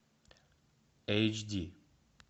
эйч ди